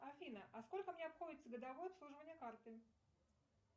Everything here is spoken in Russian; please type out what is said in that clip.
афина а сколько мне обходится годовое обслуживание карты